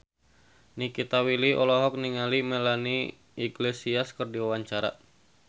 Nikita Willy olohok ningali Melanie Iglesias keur diwawancara